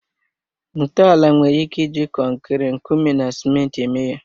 Ntọala nwere ike iji kọnkịri, nkume na ciment eme ya